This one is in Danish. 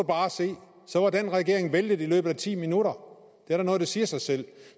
bare se så var den regering væltet i løbet af ti minutter det er da noget der siger sig selv